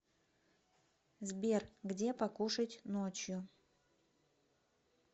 сбер где покушать ночью